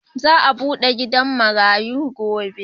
Za'a bude gidan marayu gobe.